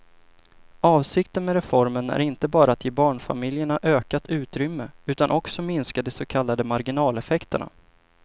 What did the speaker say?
Avsikten med reformen är inte bara att ge barnfamiljerna ökat utrymme utan också minska de så kallade marginaleffekterna.